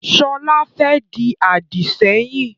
Sọlá fẹ́ di Àdìsẹ́yìn